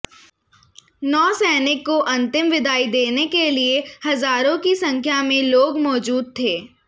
नौसैनिक को अंतिम विदाई देने के लिए हज़ारों की संख्या में लोग मौजूद थे